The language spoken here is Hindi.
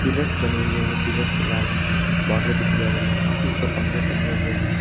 जस्ट बने हुए हैं पिलर्स पे लाल बॉर्डर भी दिया हुआ है काफी ऊपर पंखे भी टंगे हुए हैं।